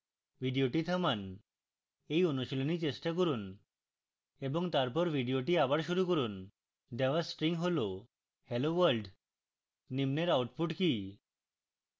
video থামান এই অনুশীলনী চেষ্টা করুন এবং তারপর video আবার শুরু করুন দেওয়া string যা হল hello world নিম্নের output কি